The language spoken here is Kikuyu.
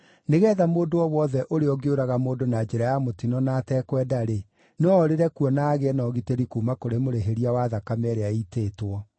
nĩgeetha mũndũ o wothe ũrĩa ũngĩũraga mũndũ na njĩra ya mũtino na atekwenda-rĩ, no orĩre kuo na agĩe na ũgitĩri kuuma kũrĩ mũrĩhĩria wa thakame ĩrĩa ĩitĩtwo.